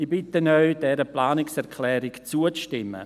Ich bitte Sie, dieser Planungserklärung zuzustimmen.